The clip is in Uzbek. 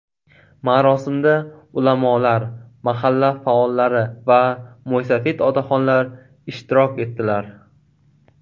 Marosimda ulamolar, mahalla faollari va mo‘ysafid otaxonlar ishtirok etdilar.